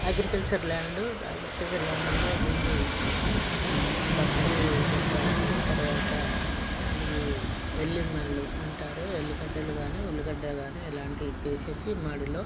agriculture land agriculture land లో దీని పత్తి పెట్టారు తర్వాత ఇవి ఎల్లి మడ్ల్లు అంటారు ఎల్లి గడ్డలు గానీ ఉల్లిగడ్డ గానీ ఎలాంటివి తీసేసి మడిలో--